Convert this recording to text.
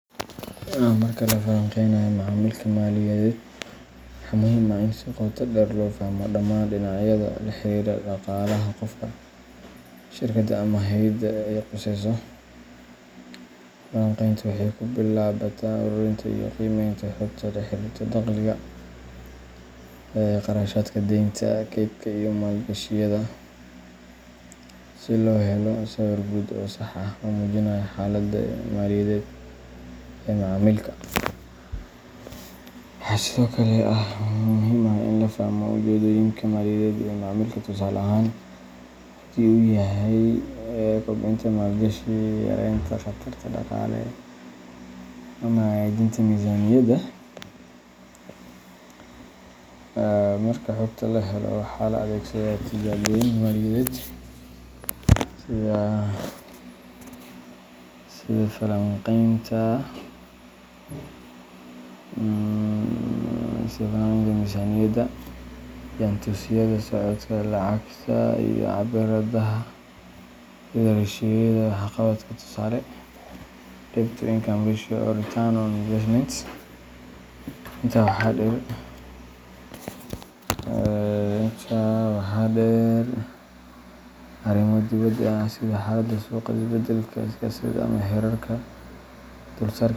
Marka la falaqeynayo macaamilka maaliyadeed, waxaa muhiim ah in si qoto dheer loo fahmo dhammaan dhinacyada la xiriira dhaqaalaha qofka, shirkadda, ama hay’adda ay khusayso. Falanqayntu waxay ku bilaabataa ururinta iyo qiimeynta xogta la xiriirta dakhliga, kharashaadka, deynta, kaydka, iyo maalgashiyada, si loo helo sawir guud oo sax ah oo muujinaya xaaladda maaliyadeed ee macaamilka. Waxaa sidoo kale muhiim ah in la fahmo ujeeddooyinka maaliyadeed ee macaamilka tusaale ahaan, haddii uu yahay kobcinta maalgashi, yaraynta khataraha dhaqaale, ama hagaajinta miisaaniyadda. Marka xogta la helo, waxaa la adeegsadaa tijaabooyin maaliyadeed sida falanqaynta miisaaniyadda, jaantusyada socodka lacagta, iyo cabbiraadaha sida ratio-yada waxqabadka tusaale, debt-to-income ratio or return on investment. Intaa waxaa dheer, arrimo dibadda ah sida xaaladda suuqa, isbedelka siyaasadeed, ama heerarka dulsaarka.